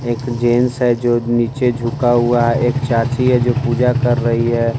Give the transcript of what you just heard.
एक जेंट्स है जो नीचे झुका हुआ है एक चाची है जो पूजा कर रही है।